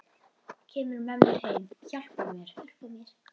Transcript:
Kemur með mér, hjálpar mér.